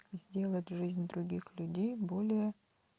сделать жизнь других людей более